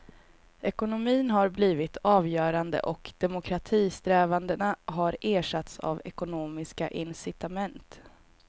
Ekonomin har blivit avgörande och demokratisträvandena har ersatts av ekonomiska incitament.